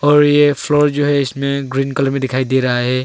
और ये फ्लोर जो है इसमें ग्रीन कलर में दिखाई दे रहा है।